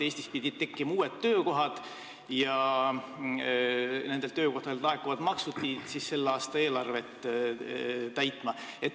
Eestis pidid tekkima uued töökohad ja nendelt töökohtadelt laekuvad maksud pidid selle aasta eelarvet täitma.